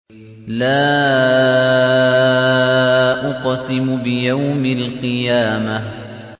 لَا أُقْسِمُ بِيَوْمِ الْقِيَامَةِ